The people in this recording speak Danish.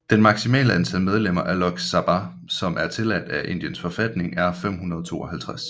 Det maksimale antal medlemmer af Lok Sabha som er tilladt af Indiens forfatning er 552